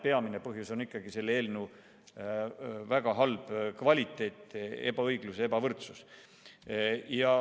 Peamine põhjus on ikkagi selle eelnõu väga halb kvaliteet: tekiks ebaõiglus ja ebavõrdsus.